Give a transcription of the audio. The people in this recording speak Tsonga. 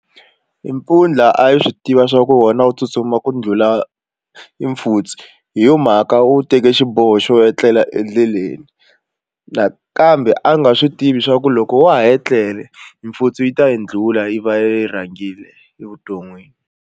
Mpfundla a yi swi tiva swa ku wona wu tsutsuma ku ndlhula e mfutsu hi yo mhaka wu teke xiboho xo etlela endleleni nakambe a nga swi tivi swa ku loko wa ha ye tlele mfutsu yi ta yi ndlula yi va yi rhangile evuton'wini.